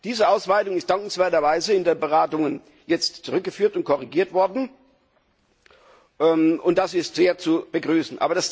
Diese Ausweitung ist dankenswerterweise in den Beratungen jetzt zurückgeführt und korrigiert worden und das ist sehr zu begrüßen.